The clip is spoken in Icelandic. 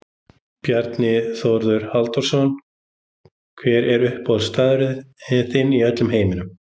Bjarni Þórður Halldórsson Hver er uppáhaldsstaðurinn þinn í öllum heiminum?